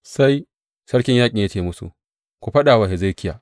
Sai sarkin yaƙin ya ce musu, Ku faɗa wa Hezekiya.